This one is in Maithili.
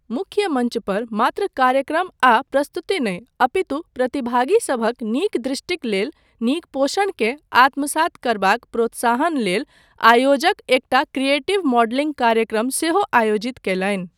मुख्य मञ्चपर, मात्र कार्यक्रम आ प्रस्तुति नहि, अपितु प्रतिभागीसभक नीक दृष्टिक लेल नीक पोषणकेँ आत्मसात करबाक प्रोत्साहन लेल आयोजक एकटा क्रिएटिव मॉडलिङ्ग कार्यक्रम सेहो आयोजित कयलनि।